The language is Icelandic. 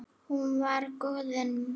Hún var goðið mitt.